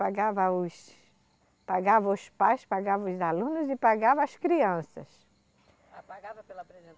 Pagava os... pagava os pais, pagava os alunos e pagava as crianças. pagava pela